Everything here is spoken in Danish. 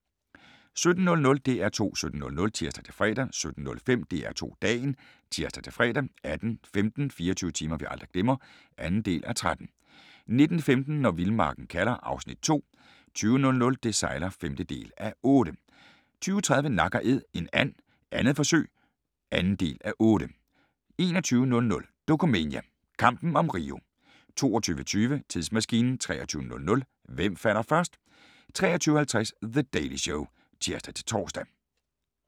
17:00: DR2 17.00 (tir-fre) 17:05: DR2 Dagen (tir-fre) 18:15: 24 timer vi aldrig glemmer (2:13) 19:15: Når vildmarken kalder (Afs. 2) 20:00: Det sejler (5:8) 20:30: Nak & æd – en and 2. forsøg (2:8) 21:00: Dokumania: Kampen om Rio 22:20: Tidsmaskinen 23:00: Hvem falder først? 23:50: The Daily Show (tir-tor)